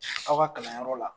Aw ka kalanyɔrɔ la